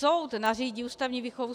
Soud nařídí ústavní výchovu.